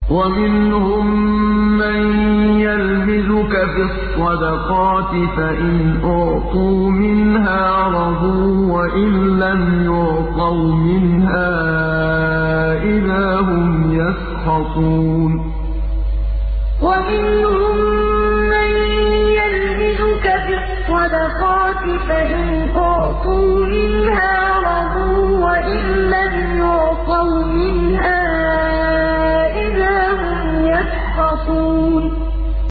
وَمِنْهُم مَّن يَلْمِزُكَ فِي الصَّدَقَاتِ فَإِنْ أُعْطُوا مِنْهَا رَضُوا وَإِن لَّمْ يُعْطَوْا مِنْهَا إِذَا هُمْ يَسْخَطُونَ وَمِنْهُم مَّن يَلْمِزُكَ فِي الصَّدَقَاتِ فَإِنْ أُعْطُوا مِنْهَا رَضُوا وَإِن لَّمْ يُعْطَوْا مِنْهَا إِذَا هُمْ يَسْخَطُونَ